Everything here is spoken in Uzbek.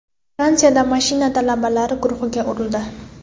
Fransiyada mashina talabalar guruhiga urildi.